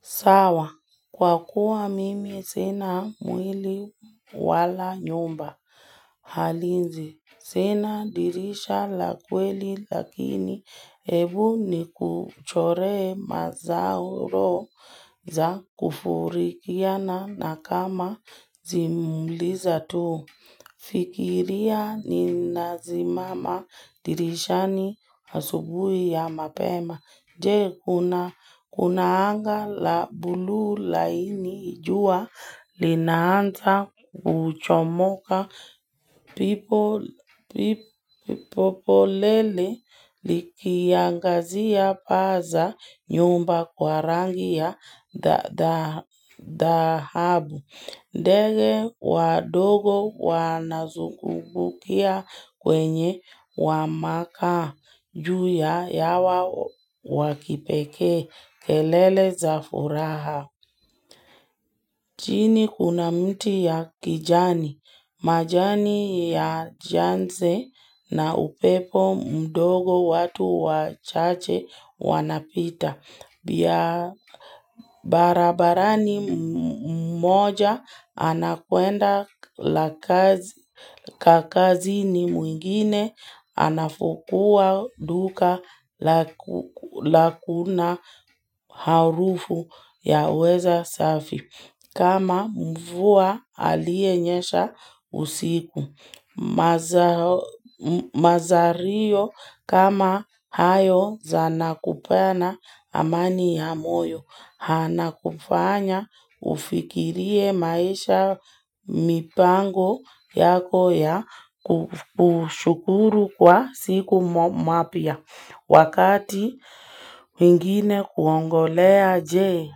Sawa, kwa kuwa mimi sina mwili wala nyumba. Hali zii, sina dirisha la kweli lakini ebu nikuchoree mazauro za kufurikia na nakama zimuliza tu. Fikiria ni nasimama dirishani asubuhi ya mapema. Je kuna anga la buluu laini ijua linaanza kuchomoka pipo polele likiangazia paa za nyumba kwa rangi ya dhahabu. Ndege wadogo wanazungukia kwenye wamaka juu ya yawa wakipeke kelele za furaha. Chini kuna mti ya kijani, majani ya janse na upepo mdogo watu wachache wanapita. Pia barabarani mmoja anakuenda kakazini mwingine anafungua duka lakuna harufu ya weza safi. Kama mvua alienyesha usiku mazao Mazario kama hayo zanakupana amani ya moyo. Hana kufanya ufikirie maisha mipango yako ya kushukuru kwa siku mwapya. Wakati mwingine kuongolea jee,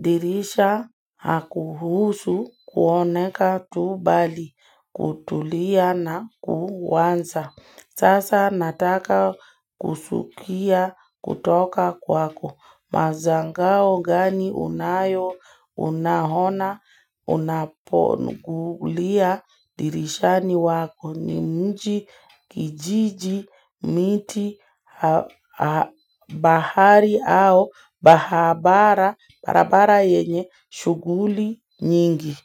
dirisha hakuhuusu kuoneka tubali, kutulia na kuwanza. Sasa nataka kusukia kutoka kwako mazangao gani unayo unahona unapogulia dirishani wako ni mji kijiji miti bahari au bahabara barabara yenye shughuli nyingi.